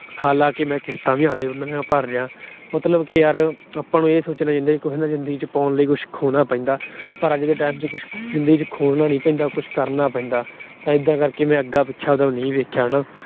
ਹਾਲਾਂਕਿ ਮੈਂ ਕਿਸ਼ਤਾਂ ਵੀ ਉਹਨਾਂ ਦੀਆਂ ਭਰ ਰਿਹਾਂ। ਮਤਲਬ ਨੇ ਆਪਾ ਨੂੰ ਇਹ ਸੋਚਣਾ ਚਾਹੀਦਾ ਯਾਰ ਜਿੰਦਗੀ ਚ ਕੁਛ ਪਾਉਣ ਲਈ ਕੁਛ ਖੋਣਾ ਪੈਂਦਾ। ਪਰ ਅੱਜ ਜਿੰਦਗੀ ਚ ਕੁਛ ਖੋਣਾ ਨੀ ਪੈਂਦਾ, ਕੁਛ ਕਰਨਾ ਪੈਂਦਾ। ਤਾਂ ਇਦਾ ਕਰਕੇ ਮੈਂ ਅੱਗਾ-ਪਿੱਛਾ ਤਾਂ ਨਹੀਂ ਦੇਖਿਆ ਹਨਾ।